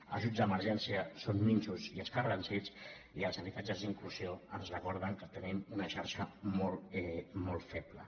ajuts d’emergència són minsos i escarransits i els habitatges d’inclusió ens recorden que tenim una xarxa molt feble